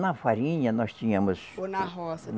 Na farinha, nós tínhamos. Ou na roça?